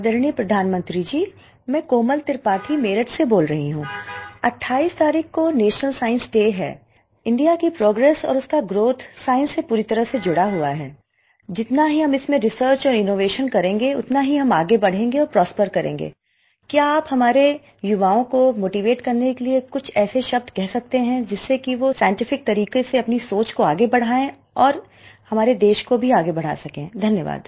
आदरणीय प्रधानमंत्री जी मैं कोमल त्रिपाठी मेरठ से बोल रही हूँ 28 तारीख को नेशनल साइंस डे है इंडिया की प्रोग्रेस और उसका ग्राउथ साइंस से पूरी तरह से जुड़ा हुआ है जितना ही हम इसमें रिसर्च और इनोवेशन करेंगे उतना ही हम आगे बढ़ेंगे और प्रॉस्पर करेंगे क्या आप हमारे युवाओं को मोटीवेट करने के लिए कुछ ऐसे शब्द कह सकते हैं जिससे कि वो साइंटिफिक तरीक़े से अपनी सोच को आगे बढाएं और हमारे देश को भी आगे बढ़ा सकें धन्यवाद